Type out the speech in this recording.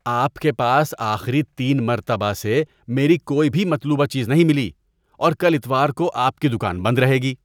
آپ کے پاس آخری تین مرتبہ سے میری کوئی بھی مطلوبہ چیز نہیں ملی اور کل اتوار کو آپ کی دکان بند رہے گی۔